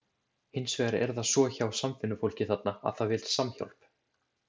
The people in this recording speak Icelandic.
Hins vegar er það svo hjá samvinnufólki þarna, að það vill samhjálp.